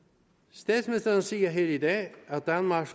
statsministeren siger her i dag at danmark